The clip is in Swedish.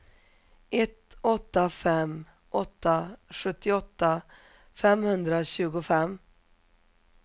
ett åtta fem åtta sjuttioåtta femhundratjugofem